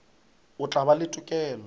o tla ba le tokelo